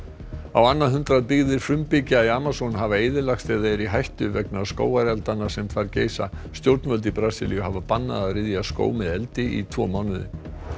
á annað hundrað byggðir frumbyggja í Amazon hafa eyðilagst eða eru í hættu vegna skógareldanna sem þar geisa stjórnvöld í Brasilíu hafa bannað að ryðja skóg með eldi í tvo mánuði